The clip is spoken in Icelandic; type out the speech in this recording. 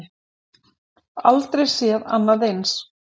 Aldrei séð annað eins.